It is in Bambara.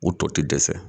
U tɔ ti dɛsɛ